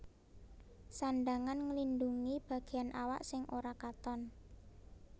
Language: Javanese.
Sandhangan nglindhungi bagéan awak sing ora katon